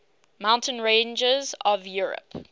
mountain ranges of europe